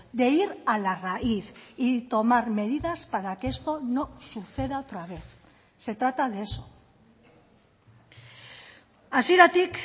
de ir a la raíz y tomar medidas para que esto no suceda otra vez se trata de eso hasieratik